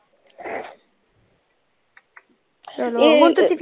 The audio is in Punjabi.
ਚਲੋ ਹੁਣ ਤੁਸੀਂ,